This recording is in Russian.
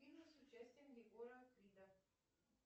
фильмы с участием егора крида